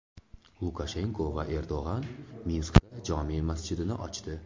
Lukashenko va Erdo‘g‘on Minskda jome masjidini ochdi.